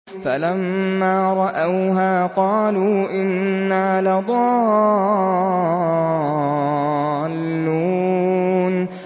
فَلَمَّا رَأَوْهَا قَالُوا إِنَّا لَضَالُّونَ